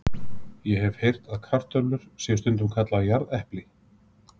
Ég hef heyrt að kartöflur séu stundum kallaðar jarðepli.